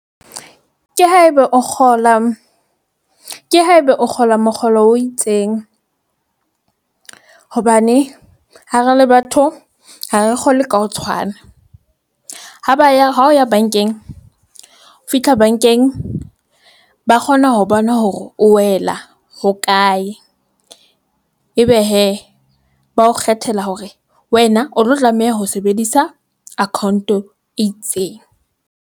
Ke haeba o kgola, ke haeba o kgola mokgolo o itseng hobane ha re le batho ha re kgolwe ka ho tshwana. Ha ba ya hao ya bankeng o fihla bankeng, ba kgona ho bona hore o wela hokae. Ebe hee ba ho kgethela hore wena o tlo tlameha ho sebedisa account e itseng.